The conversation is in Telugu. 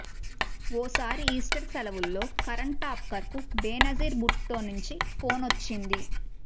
ఓసారి ఈస్టర్ సెలవుల్లో కరణ్ థాపర్కు బేనజీర్ భుట్టో నుంచి ఫోనొచ్చింది